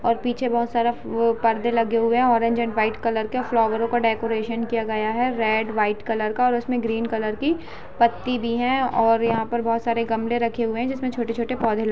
और पीछे बहुत सारा वो परदे लगे हुए हैं अरेनेज़ एंड वाईट कलर के फ्लोवर का डेकोरेशन का किया गया है रेड वाईट कलर का और उसमें ग्रीन कलर की पट्टी भी है और यहाँ पे बहुत सारे गमले रखे हुए हैं जिसमें छोटे-छोटे पौधे लगे --